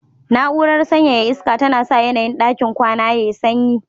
Na'urar sanyaya iska tana sa yanayin ɗakin kwana yayi sanyi